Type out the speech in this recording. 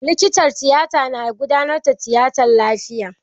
Likitan tiyata ya gudanar da tiyatan lafiya.